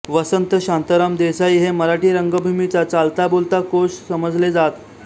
वसंत शांताराम देसाई हे मराठी रंगभूमीचा चालताबोलता कोश समजले जात